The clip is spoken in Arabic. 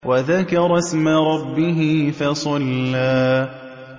وَذَكَرَ اسْمَ رَبِّهِ فَصَلَّىٰ